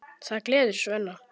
Það gleður Svenna.